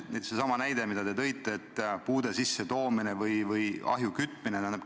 Kas või seesama näide, mida te tõite, et puude tuppa toomine või ahju kütmine.